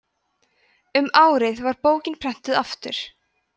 um árið var bókin prenntuð aftur